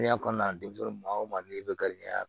kɔnɔna na denmisɛn o maa n'i bɛ garijɛgɛ